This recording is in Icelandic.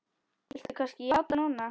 Viltu kannski játa núna?